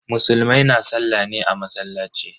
Musulmai na sallah ne a masallaci.